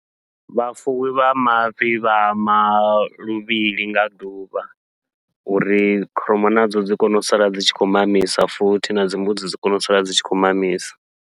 Vhafuwi vha mafhi vha hama luvhili nga ḓuvha, uri kholomo nadzo dzi kone u sala dzi tshi khou mamisa futhi nadzi mbudzi dzi kone u sala dzi tshi khou mamisa.